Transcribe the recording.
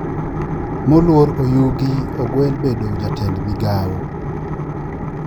Mluor oyugi ogwel bedo jatend migao